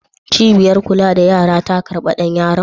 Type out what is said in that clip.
Cibiyar kula da yara ta karɓi ɗan yaron?